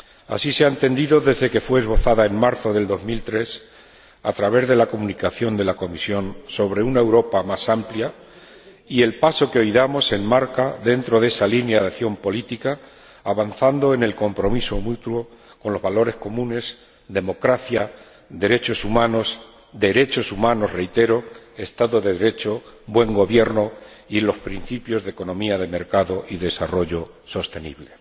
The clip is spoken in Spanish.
Así se ha entendido desde que fue esbozada en marzo de 2003 a través de la Comunicación de la Comisión sobre una Europa más amplia, y el paso que hoy damos se enmarca dentro de esa línea de acción política, avanzando en el compromiso mutuo con los valores comunes democracia, derechos humanos, derechos humanos —reitero—, Estado de Derecho, buen gobierno y los principios de economía de mercado y desarrollo sostenible.